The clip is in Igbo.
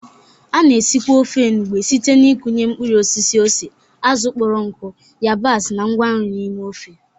A na-esikwa ofe Ofe enugbe site n'ịkụnye mkpụrụ osisi ose, azụ̀ kpọrọ nkụ, yabasị, na ngwa nri n'ime ofe.